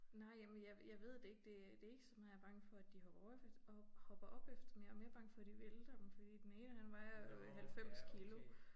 Nej jamen jeg jeg ved det ikke. Det øh det ikke så meget jeg bange for at de hopper op hopper op efter dem jeg mere bange for at de vælter dem fordi at den ene han vejer 90 kilo